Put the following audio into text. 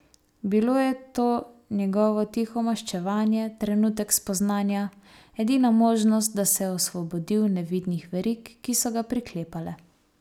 Bilo je to njegovo tiho maščevanje, trenutek spoznanja, edina možnost, da se je osvobodil nevidnih verig, ki so ga priklepale.